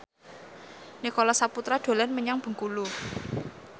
Nicholas Saputra dolan menyang Bengkulu